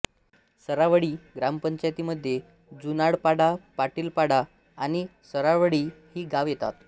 सरावळी ग्रामपंचायतीमध्ये जुनाडपाडा पाटीलपाडा आणि सरावळी ही गावे येतात